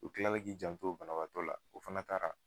O kila la k'i janto o bana baatɔ la, o fana taara.